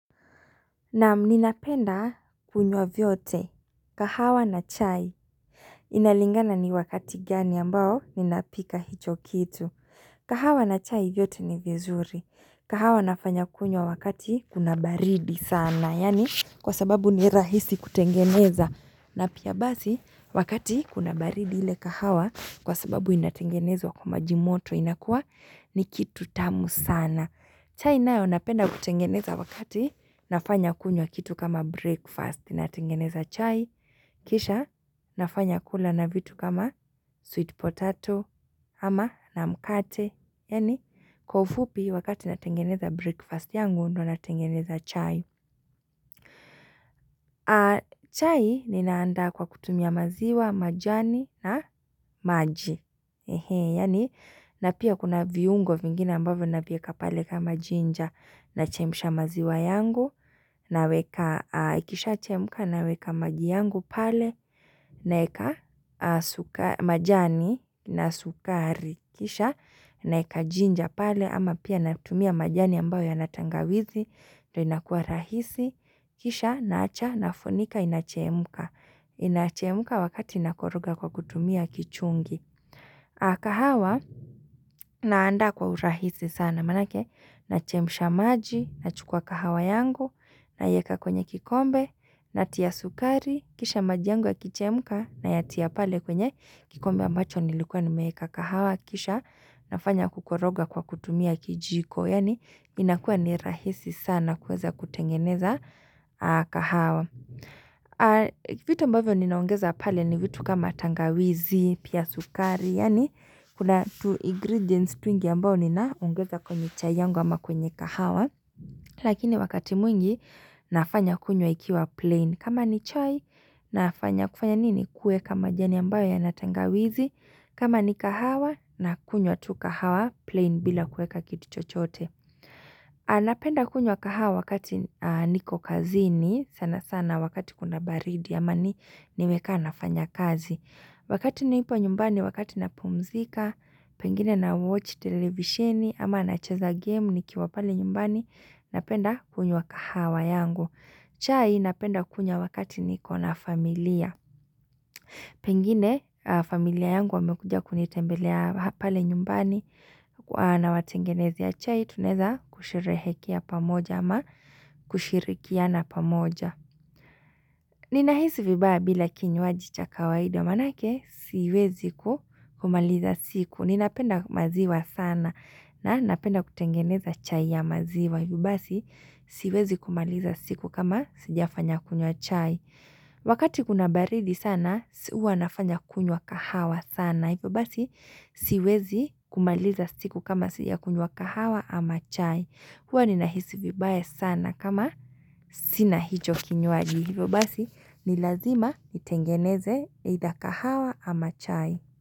Naam ninapenda kunywa vyote. Kahawa na chai. Inalingana ni wakati gani ambao ninapika hicho kitu. Kahawa na chai vyote ni vizuri. Kahawa nafanya kunywa wakati kuna baridi sana. Yani kwa sababu ni rahisi kutengeneza. Na pia basi, wakati kuna baridi ile kahawa kwa sababu inatengenezwa kwa majimoto inakua ni kitu tamu sana. Chai nayo napenda kutengeneza wakati nafanya kunyo kitu kama breakfast. Ninatengeneza chai, kisha, nafanya kula na vitu kama sweet potato, ama na mkate. Yani, kwa ufupi wakati natengeneza breakfast yangu, ndo natengeneza chai. Chai ninaanda kwa kutumia maziwa, majani na maji Hehe, yani napia kuna viungo vingine ambavyo nabieka pale kama jinja na chemisha maziwa yangu, na weka kisha chemka na weka maji yangu pale na eka majani na sukari Kisha, na eka jinja pale ama pia na kutumia majani ambavyo ya natangawizi na inakua rahisi, kisha, naacha, nafonika, inachemuka. Inachemuka wakati inakoroga kwa kutumia kichungi. Akahawa, naanda kwa urahisi sana manake, nachemisha maji, nachukua kahawa yangu, na yeka kwenye kikombe, natia sukari, kisha maji yangu akichemuka, na yatia pale kwenye kikombe ambacho nilikuwa nimeeka kahawa, kisha, nafanya kukoroga kwa kutumia kijiko. Yani inakua ni rahisi sana kueza kutengeneza kahawa Vito ambavyo ninaongeza pale ni vitu kama tangawizi, pia sukari Yani kuna tu ingredients tu ingi ambao ninaungeza kwenye chayanwa ama kwenye kahawa Lakini wakati mwingi nafanya kunyo ikiwa plain kama ni chai nafanya kufanya nini kue kama jani ambao ya natangawizi kama ni kahawa na kunyo tu kahawa plain bila kue kakituchote anapenda kunywa kahawa wakati niko kazini sana sana wakati kuna baridi ama niweka nafanya kazi. Wakati niipo nyumbani wakati napumzika, pengine na watch televisioni ama na cheza game ni kiwa pale nyumbani napenda kunywa kahawa yangu. Chai napenda kunywa wakati niko na familia. Pengine familia yangu wamekuja kunitembelea hapale nyumbani na watengenezea chai tunaeza kusherehekea pamoja ama kushirikia na pamoja. Nina hisi vibaya bila kinyuaji cha kawaida manake siwezi kumaliza siku. Ninapenda maziwa sana na napenda kutengeneza chai ya maziwa hivi basi siwezi kumaliza siku kama sijafanya kunywa chai. Wakati kuna baridi sana, hua nafanya kunywa kahawa sana Hifo basi, siwezi kumaliza siku kama sijakunywa kahawa ama chai hua ni nahisi vibaya sana kama sina hicho kinyuaji Hifo basi, ni lazima itengeneze either kahawa ama chai.